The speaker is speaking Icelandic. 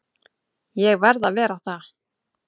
Ég verð að vera það.